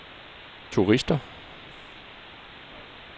turister